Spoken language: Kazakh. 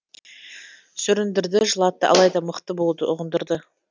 сүріндірді жылатты алайда мықты болуды ұғындырды